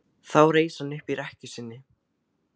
Þá reis hann upp í rekkju sinni.